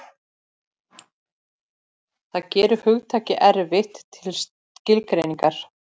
Það gerir hugtakið erfitt til skilgreiningar.